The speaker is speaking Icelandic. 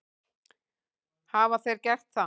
Hafa þeir gert það?